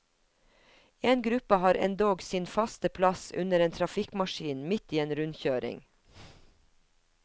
En gruppe har endog sin faste plass under en trafikkmaskin midt i en rundkjøring.